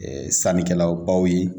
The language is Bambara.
sannikɛla baw ye